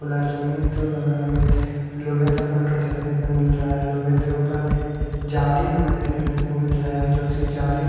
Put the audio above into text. गुलाब जामुन लोहे का फोटो देखने पे मिल रहा है लोहे के ऊपर एक जाली हमें देखने को मिल रहा है जो की जाली--